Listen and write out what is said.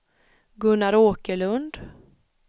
Gunnar Åkerlund